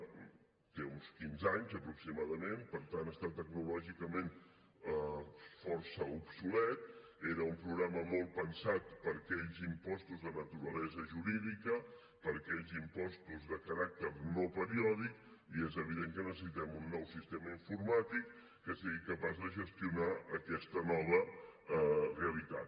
té uns quinze anys aproximadament per tant està tecnològicament força obsolet era un programa molt pensat per a aquells impostos de naturalesa jurídica per a aquells impostos de caràcter no periòdic i és evident que necessitem un nou sistema informàtic que sigui capaç de gestionar aquesta nova realitat